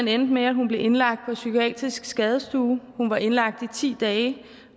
endte med at hun blev indlagt på psykiatrisk skadestue hun var indlagt i ti dage